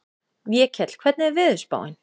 Vékell, hvernig er veðurspáin?